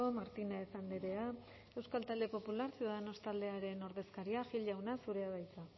martínez andrea euskal talde popular ciudadanos taldearen ordezkaria gil jauna zurea da hitza